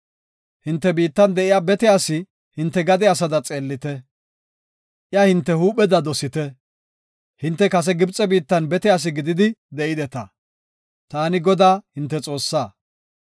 Hinte biittan de7iya bete asi hinte gade asada xeellite; iya hinte huupheda dosite. Hinte kase Gibxe biittan bete asi gididi de7ideta. Taani Godaa, hinte Xoossaa.